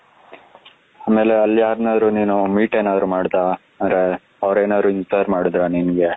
ಆಮೇಲೆ ಅಲ್ಲಿ ಯಾರನ್ನಾದರೂ ನೀನು meet ಏನಾದ್ರೂ ಮಾಡ್ದ ಅಂದ್ರೆ ಅವರೇನಾದ್ರೂ inspire ಮಾಡಿದ್ರಾ ನಿನಗೆ,